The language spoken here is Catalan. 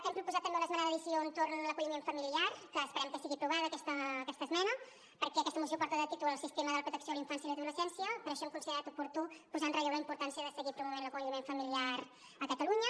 hem proposat també una esmena d’addició entorn de l’acolliment familiar que esperem que sigui aprovada aquesta esmena perquè aquesta moció porta de títol el sistema de protecció de la infància i adolescència i per això hem considerat oportú posar en relleu la importància de seguir promovent l’acolliment familiar a catalunya